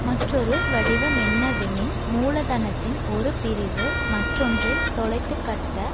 மற்றொரு வடிவமென்னவெனின் மூலதனத்தின் ஒரு பிரிவு மற்றொன்றைத் தொலைத்துக் கட்ட